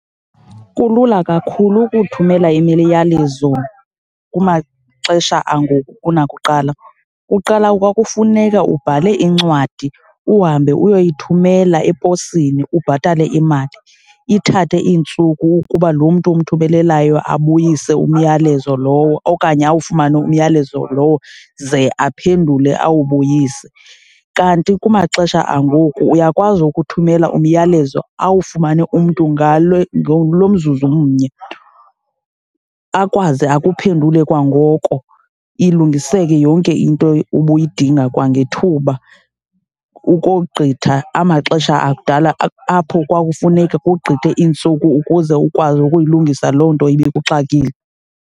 Kulula kakhulu ukuthumela imiyalezo kumaxesha angoku kunakuqala. Kuqala kwakufuneka ubhale incwadi uhambe uyoyithumela eposini, ubhatale imali, ithathe iintsuku ukuba lo mntu umthumelelayo abuyise umyalezo lowo okanye awufumane umyalezo lowo ze aphendule awubuyise. Kanti kumaxesha angoku uyakwazi ukuthumela umyalezo awufumane umntu ngalo naglo mzuzu umnye, akwazi akuphendule kwangoko, ilungiseke yonke into ubuyidinga kwangethuba ukogqitha amaxesha akudala apho kwakufuneka kugqithe iintsuku ukuze ukwazi ukuyilungisa loo nto ibikuxakile.